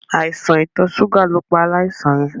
Àìsàn itọ̀ ṣúgà ló pa aláìsàn yẹ.